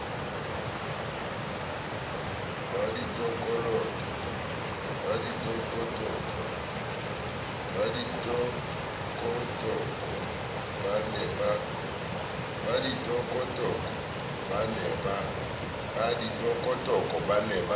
ba ditokotoko ba ne ba